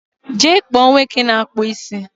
jee kpọọ nwoke na-akpụ isi!